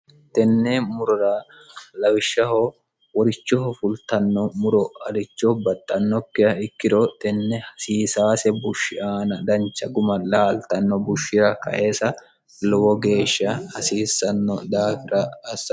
tenne murura lawishshaho worichoho fultanno muro alicho baxxannokkiha ikkiro tenne hasiisaase bushshi aana dancha guma laaltanno bushshira kaesa lowo geeshsha hasiissanno dhaafira assar